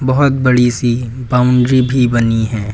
बहोत बड़ी सी बाउंड्री भी बनी है।